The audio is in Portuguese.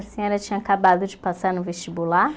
A senhora tinha acabado de passar no vestibular?